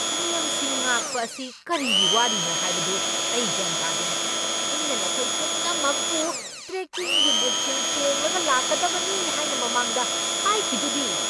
ꯅꯤꯌꯝꯁꯤꯡ ꯉꯥꯛꯄ ꯑꯁꯤ ꯀꯔꯤꯒꯤ ꯋꯥꯔꯤꯅꯣ ꯍꯥꯏꯕꯗꯨ ꯑꯩ ꯒ꯭ꯌꯥꯟ ꯇꯥꯗꯦ꯫ ꯑꯩꯅ ꯅꯈꯣꯏ ꯄꯨꯝꯅꯃꯛꯄꯨ ꯇ꯭ꯔꯦꯛꯀꯤꯡꯒꯤ ꯕꯨꯠꯁꯤꯡ ꯇꯣꯡꯂꯒ ꯂꯥꯛꯀꯗꯕꯅꯤ ꯍꯥꯏꯅ ꯃꯃꯥꯡꯗ ꯍꯥꯏꯈꯤꯗꯨꯗꯤ꯫